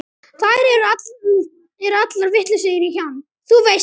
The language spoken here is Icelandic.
Þær eru allar vitlausar í hann, þú veist það.